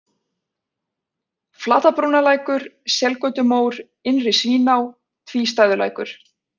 Flatabrúnalækur, Selgötumór, Innri-Svíná, Tvístæðulækur